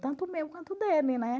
Tanto o meu quanto o dele, né?